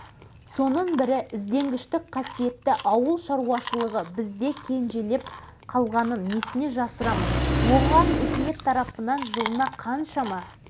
осы шығармалармен танысу барысында қазіргі жұмысыма қатысты көптеген мәселелерді жаңаша пайымдағандай болдым